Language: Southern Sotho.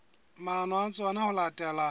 maano a tsona ho latela